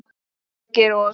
Þorgeir og